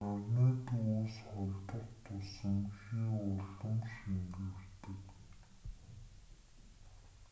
нарны төвөөс холдох тусам хий улам шингэрдэг